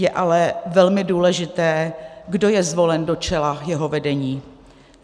Je ale velmi důležité, kdo je zvolen do čela jeho vedení.